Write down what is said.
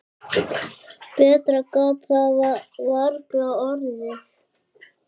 Betra gat það varla orðið.